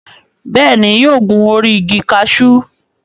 Bẹ́ẹ̀ ni, yóò gun orí igi kaṣú.